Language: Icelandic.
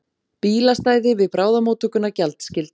Bílastæði við bráðamóttökuna gjaldskyld